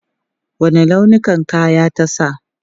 Wanne launin kaya ta sa?